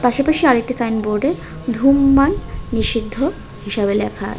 পাশাপাশি আরেকটি সাইনবোর্ডে ধূমমান নিষিদ্ধ হিসেবে ল্যাখা আছে।